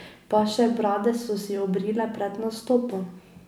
Pa še brade so si obrile pred nastopom.